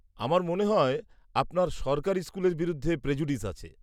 -আমার মনে হয় আপনার সরকারি স্কুলের বিরুদ্ধে প্রেজুডিস আছে।